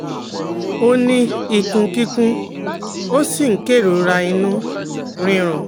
ó ní ikun kikun, ó sì ń kerora inu rirun